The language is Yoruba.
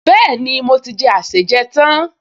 Bẹ́ẹ̀ni, mo ti jẹ àsèjẹ tán